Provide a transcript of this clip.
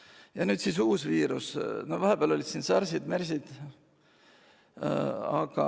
Ja nüüd on siis uus viirus, vahepeal olid siin ka SARS-id ja MERS-id.